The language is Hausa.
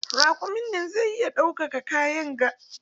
Raƙumin nan zai iya ɗaukan kayan ga?